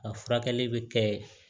A furakɛli bɛ kɛ